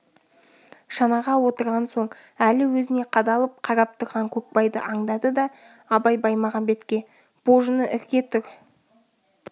шанаға отырған соң әлі өзіне қадала қарап тұрған көкбайды аңдады да абай баймағамбетке божыны ірке тұр